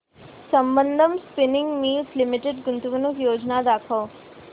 Sambandam spinning mills limited गुंतवणूक योजना दाखव